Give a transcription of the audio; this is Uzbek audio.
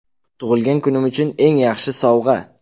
Tug‘ilgan kunim uchun eng yaxshi sovg‘a.